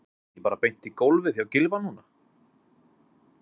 Er það ekki bara beint í golfið hjá Gylfa núna?